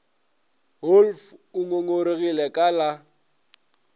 wolff o ngongoregile ka la